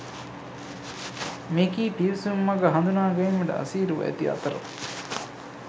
මෙකී පිවිසුම් මග හඳුනාගැනීමට අසීරුව ඇති අතර